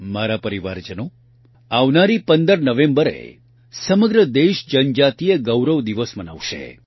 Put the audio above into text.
મારા પરિવારજનો આવનારી ૧૫ નવેંબરે સમગ્ર દેશ જનજાતિય ગૌરવ દિવસ મનાવશે